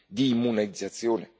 di immunizzazione?